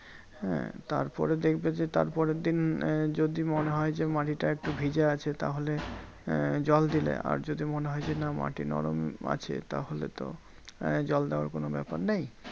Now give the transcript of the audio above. হ্যাঁ তারপরে দেখবে যে, তারপরের দিন আহ যদি মনে হয় যে, মাটিটা একটু ভিজে আছে তাহলে আহ জল দিলে। আর যদি মনে হয় যে না মাটি নরম আছে তাহলে তো আহ জল দেওয়ার কোনো ব্যাপার নেই।